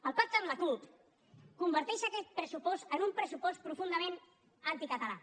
el pacte amb la cup converteix aquest pressupost en un pressupost profundament anticatalà